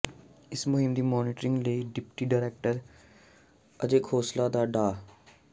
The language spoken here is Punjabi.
ਇਸ ਮੁੰਹਿਮ ਦੀ ਮੋਨਿਟਰਿੰਗ ਲਈ ਡਿਪਟੀ ਡਾਇਰੈਕਟਰ ਅਜੈ ਖੋਸਲਾ ਅਤੇ ਡਾ